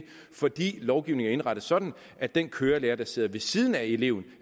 fordi lovgivningen er indrettet sådan at den kørelærer der sidder ved siden af eleven